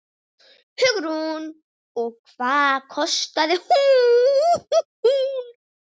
Hugrún: Og hvað kostaði hún?